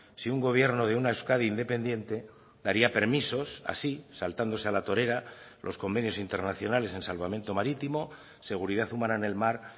si un gobierno de una euskadi independiente daría permisos así saltándose a la torera los convenios internacionales en salvamento marítimo seguridad humana en el mar